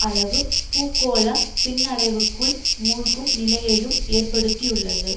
அளவு பூகோள பின்னடைவுக்குள் மூழ்கும் நிலையையும் ஏற்படுத்தியுள்ளது